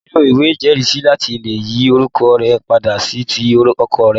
O nílò ìwé ìjẹ́rìísí láti lè yí orúkọ rẹ padà sí ti ọkọ rẹ